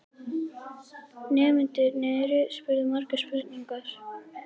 Nemendurnir spurðu margra spurninga.